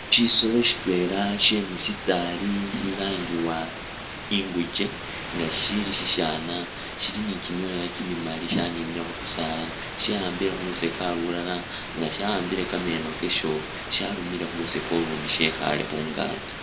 Shisolo sitwela shemusisaali shilangiwa inguke nga sisili sishana shili ni kimyooya kimimaali shaninile khukusaala shawambile khulusokya lulala nga shawambile kameno kasho shalumile khulusokya ulundi shekhale khungaki